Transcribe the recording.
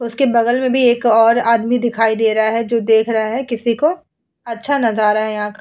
उसके बगल में भी एक और आदमी दिखाई दे रहा है जो देख रहा है किसी को। अच्छा नजारा है यहां का।